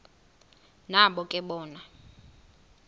nabo ke bona